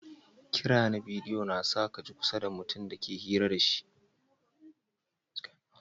Kira na bidiyo na sa ka ji kusa da mutum da ka ke hira da shi.